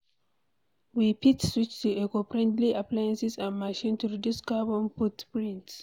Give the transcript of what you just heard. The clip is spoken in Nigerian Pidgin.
We fit switch to eco-friendly appliances and machines to reduce carbon footprint